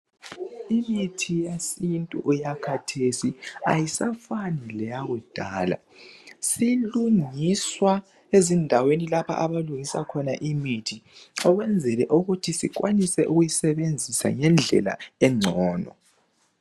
Imithi yesintu eyakhathesi ayisafani leyakudala. Silungiswa ezindaweni lapho okulungiswa khona imithi ukwenzele ukuthi sikwanise ukuyisebenzisa ngendlela engcono.